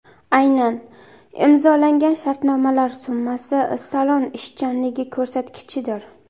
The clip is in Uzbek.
Aynan imzolangan shartnomalar summasi salon ishchanligi ko‘rsatkichidir.